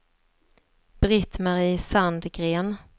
Britt-Marie Sandgren